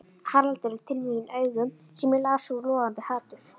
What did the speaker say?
Haraldur til mín augum sem ég las úr logandi hatur.